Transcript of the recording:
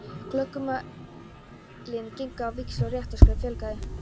Klögumálin gengu á víxl og réttarskjölum fjölgaði.